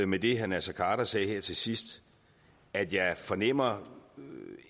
med det herre naser khader sagde her til sidst at jeg fornemmer